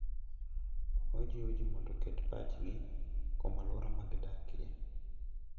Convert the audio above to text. Ojiwo ji mondo oket pachgi kuom alwora ma gidakie.